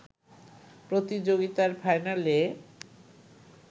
প্রতিযোগিতার ফাইনালে